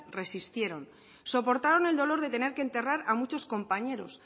resistieron soportaron el dolor de tener que enterrar a muchos compañeros